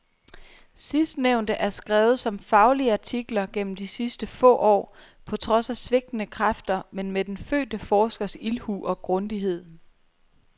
Sidstnævnte er skrevet som faglige artikler gennem de sidste få år, på trods af svigtende kræfter men med den fødte forskers ildhu og grundighed.